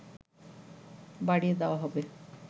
বাড়িয়ে দেয়া হবে